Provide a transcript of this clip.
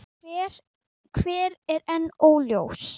Hver er enn óljóst.